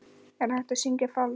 Er hægt að syngja falskt?